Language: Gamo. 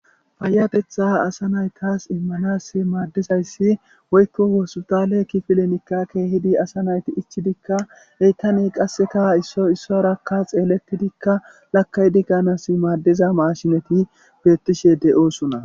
Faayabetha asa naytas immanas maaddizayssi woykko woosutale ki filenikka keehidi asa nayti ichidikka heytaney qasseka isso issorakka xeeletidikka lakay dikanas maaddiza mashinati beettishe de'oosuna